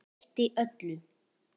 Breytti öllu.